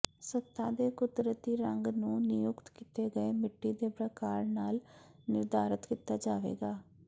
ਸਤ੍ਹਾ ਦੇ ਕੁਦਰਤੀ ਰੰਗ ਨੂੰ ਨਿਯੁਕਤ ਕੀਤੇ ਗਏ ਮਿੱਟੀ ਦੇ ਪ੍ਰਕਾਰ ਨਾਲ ਨਿਰਧਾਰਤ ਕੀਤਾ ਜਾਵੇਗਾ